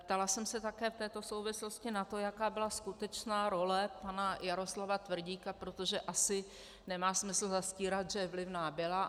Ptala jsem se také v této souvislosti na to, jaká byla skutečná role pana Jaroslava Tvrdíka, protože asi nemá smysl zastírat, že vlivná byla.